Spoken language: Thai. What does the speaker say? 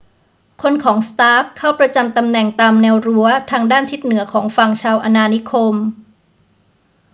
คนของ stark เข้าประจำตำแหน่งตามแนวรั้วทางด้านทิศเหนือของฝั่งชาวอาณานิคม